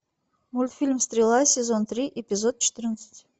мультфильм стрела сезон три эпизод четырнадцать